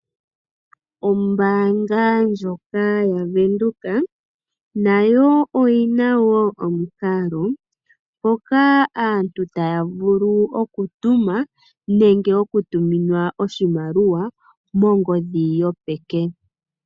Ombaanga ndyoka yaWindhoek nayo oyina omikalo ndhoka aantu tayavulu okutuma nenge okutuminwa oshimaliwa kongodhi yopeke.